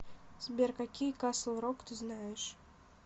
сбер какие касл рок ты знаешь